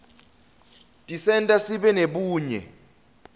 tisenta sibe nebunye